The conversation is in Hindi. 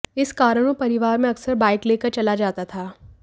इस कारण वो परिवार में अक्सर बाइक लेकर चला जाता था